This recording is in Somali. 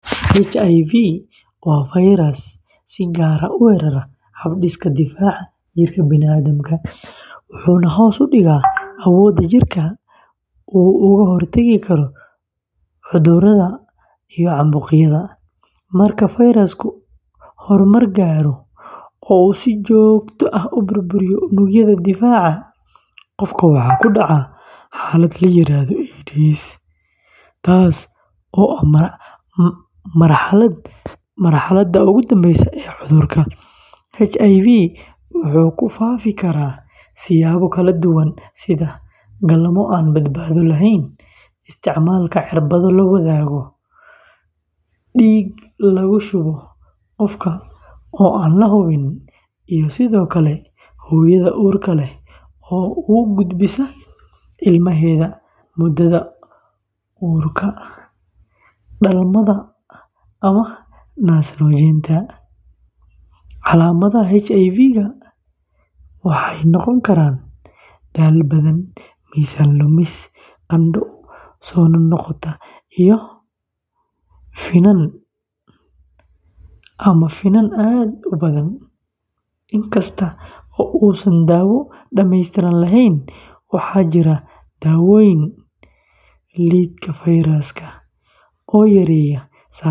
HIV waa fayras si gaar ah u weerara hab-dhiska difaaca jirka bini’aadamka, wuxuuna hoos u dhigaa awoodda jirka uu uga hortagi karo cudurrada iyo caabuqyada. Marka fayrasku horumar gaaro oo uu si joogto ah u burburiyo unugyada difaaca, qofka waxaa ku dhaca xaalad la yiraahdo AIDS taas oo ah marxaladda ugu dambeysa ee cudurka. HIV wuxuu ku faafi karaa siyaabo kala duwan sida: galmo aan badbaado lahayn, isticmaalka cirbado la wadaago, dhiig lagu shubo oo aan la hubin, iyo sidoo kale hooyada uurka leh oo u gudbisa ilmaheeda muddada uurka, dhalmada ama naas-nuujinta. Calaamadaha HIV-ka waxay noqon karaan daal badan, miisaan lumis, qandho soo noqnoqda iyo finan ama finan aad u badan. Inkasta oo uusan daawo dhammaystiran lahayn, waxaa jira daawooyin lidka fayraska oo yareeya.